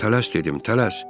Tələs, dedim, tələs.